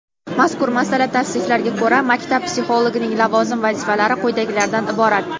Mazkur malaka tavsiflariga ko‘ra maktab psixologining lavozim vazifalari quyidagilardan iborat:.